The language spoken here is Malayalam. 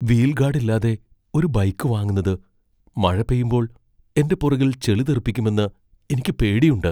വീൽ ഗാഡ് ഇല്ലാതെ ഒരു ബൈക്ക് വാങ്ങുന്നത് മഴ പെയ്യുമ്പോൾ എന്റെ പുറകിൽ ചെളി തെറിപ്പിക്കുമെന്ന് എനിക്ക് പേടിയുണ്ട്.